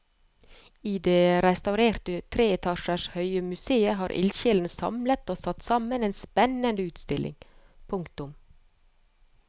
I det restaurerte tre etasjer høye museet har ildsjelene samlet og satt sammen en spennende utstilling. punktum